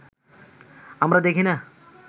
আমরা দেখি না